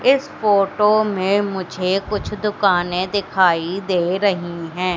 इस फोटो में मुझे कुछ दुकानें दिखाई दे रही हैं।